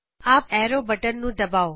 up arrow button ਨੂੰ ਦਬਾਓ